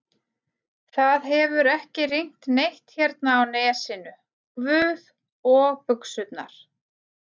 það hefur ekki rignt neitt hérna á Nesinu, guð, og buxurnar.